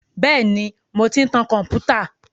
Bẹ́ẹ̀ ni, mò ń ti tan kọ̀m̀pútà.